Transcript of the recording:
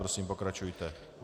Prosím, pokračujte.